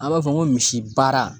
An b'a fɔ ko misi baara